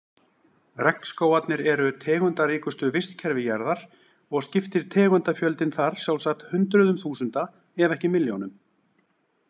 Regnskógarnir eru tegundaríkustu vistkerfi jarðar og skiptir tegundafjöldinn þar sjálfsagt hundruðum þúsunda ef ekki milljónum.